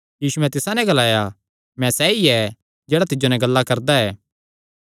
यीशुयैं तिसा नैं ग्लाया मैं सैई ऐ जेह्ड़ा तिज्जो नैं ग्ला करदा ऐ